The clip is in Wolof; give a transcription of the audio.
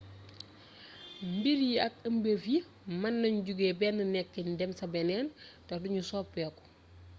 mbir yi ak ëmbeef yi mën nañ jóge benn nekkin dem saa beeneen te du ñu soppeeku